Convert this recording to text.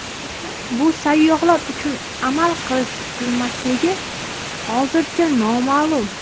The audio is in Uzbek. Bu sayyohlar uchun amal qilish-qilmasligi hozircha noma’lum.